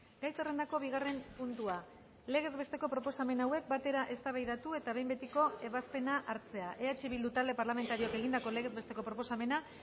gai zerrendako bigarren puntua legez besteko proposamen hauek batera eztabaidatu eta behin betiko ebazpena hartzea eh bildu talde parlamentarioak egindako legez besteko proposamena